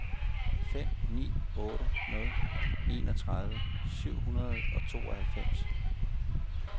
fem ni otte nul enogtredive syv hundrede og tooghalvfems